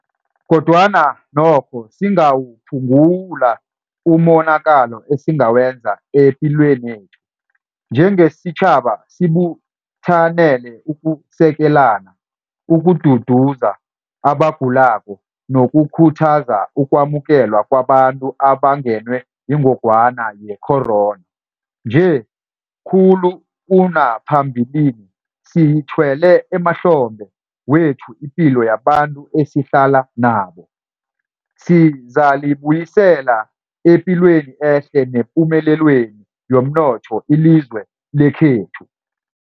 Kodwana nokho singawuphungula umonakalo esingawenza epilwenethu. Njengesitjhaba sibuthanele ukusekelana, ukududuza abagulako nokukhuthaza ukwamukelwa kwabantu abangenwe yingogwana ye-corona. Nje, khulu kunaphambilini, siyithwele emahlombe wethu ipilo yabantu esihlala nabo. Sizalibuyisela epilweni ehle nepumelelweni yomnotho ilizwe lekhethu.